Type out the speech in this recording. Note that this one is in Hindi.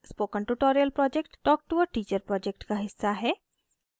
spoken tutorial project talk to a teacher project का हिस्सा है